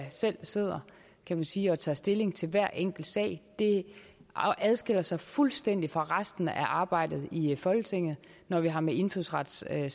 der selv sidder kan man sige og tager stilling til hver enkelt sag det adskiller sig fuldstændig fra resten af arbejdet i folketinget når vi har med indfødsretssager